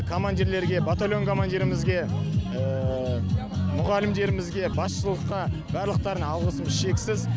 командирлерге батальон командирімізге мұғалімдерімізге басшылыққа барлықтарына алғысым шексіз